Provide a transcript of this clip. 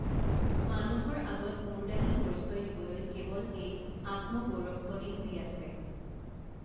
মানুহৰ আগত মূৰ দাঙি পৰিচয় দিবলৈ কেৱল এই আত্মগৌৰৱকণেই যি আছে